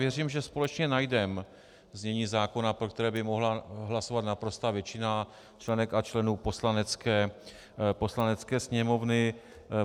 Věřím, že společně najdeme znění zákona, pro které by mohla hlasovat naprostá většina členek a členů Poslanecké sněmovny.